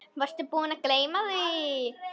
Varstu búinn að gleyma því?